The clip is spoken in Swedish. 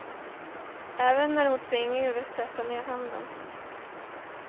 Även när hon tvingades sätta ned handen.